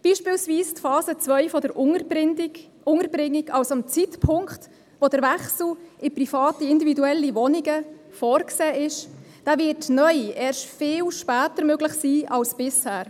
Beispielsweise wird die Phase 2 der Unterbringung, also der Zeitpunkt, zu dem der Wechsel in private, individuelle Wohnungen vorgesehen ist, neu erst viel später möglich sein als bisher.